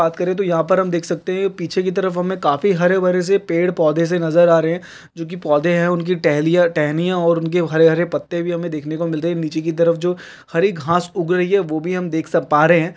बात करें तो यहाँ पे हम देख सकते है कि पीछे कि तरफ काफी हरे-भरे से पेड़-पौधे से नज़र आ रहे है जो कि पौधे है उनकी टहलियाँ-टहनियाँ और उनके हरे-हरे पत्ते भी हमें देखने को मिल रहे है नीचे कि तरफ जो हरी घास उग रही है वो भी हम देख सक पा रहे है।